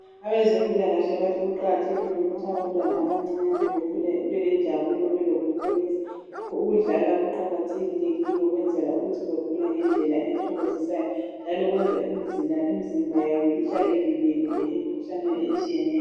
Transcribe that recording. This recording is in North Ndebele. Abezempilakahle bathi kuqakathekile ukuthi abantwana abancinyane bakhule belenjabulo belokukholusa, ukudlala kuqakathekile ukwenzela ukuthi bakhule ngendlela ethokozisayo, njalo kwenza imzimba yabo ihlale ivikelekile emkhuhlaneni etshiyeneyo.